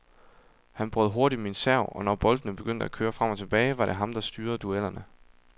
Han brød hurtigt min serv, og når boldene begyndte at køre frem og tilbage, var det ham, der styrede duellerne.